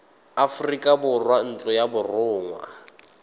aforika borwa ntlo ya borongwa